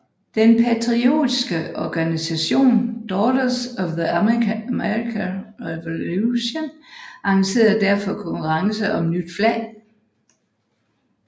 Den patriotiske organisation Daughters of the American Revolution arrangerede derfor konkurrence om nyt flag